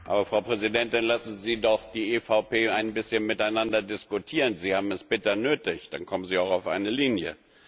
Aber Frau Präsidentin, lassen Sie doch die EVP ein bisschen miteinander diskutieren, sie haben es bitter nötig, dann kommen sie auch auf eine Linie.